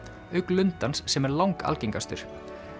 auk lundans sem er langalgengastur